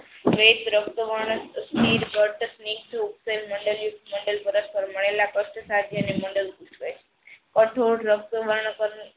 wet રકતા વર્ણ સ્થિર ઊપસેલ મંડલ યુગ મંડલ પરસપરમાયલા કાસ્ટ સાધ્ય અને મંડલ પુસ્થ કહે કઠોર રક્તા